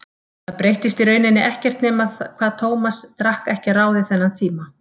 Það breyttist í rauninni ekkert nema hvað Tómas drakk ekki að ráði þennan tíma.